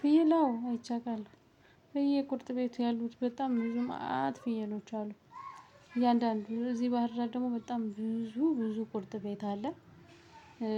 ፍየል አዎ አይቼ አውቃለሁ ብየ ቁርጥ ቤቱ ያሉት በጣም ብዙ መአት ፍየሎች አሉ። እያንዳንዱ እዚህ ባህር ዳር ደግሞ በጣም ብዙ ብዙ ቁርጥ ቤት አለ።